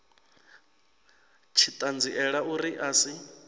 tshi ṱanziela uri a si